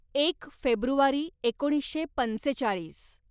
एक फेब्रुवारी एकोणीसशे पंचेचाळीस